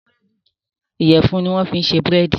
Iyẹ̀fun ni wọ́n fi ṣe búrèdì